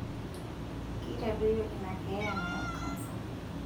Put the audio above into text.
Keitadoyio ina keeya nayau kansa.